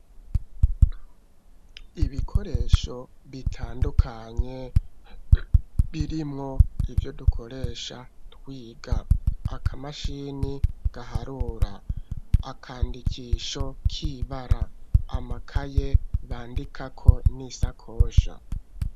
Ibikoresho bitandukanye birimwo ivyo duhora dukoresha iyo turiko turiga aka mashine gaharura. Akandikisho k'ibara. Amakaye bandikako n'isakosha.